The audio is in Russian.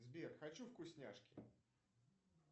сбер хочу вкусняшки